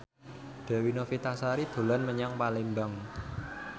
Dewi Novitasari dolan menyang Palembang